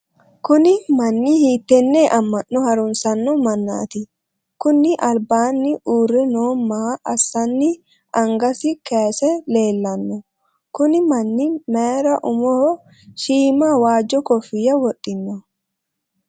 kuni manni hiittenne amma'no harunsanno mannati? kuni albaanni uurre noo maa assanni angasi kayiise leellanno? kuni manni mayiir umoho shiima waajjo kofiyya wodhino?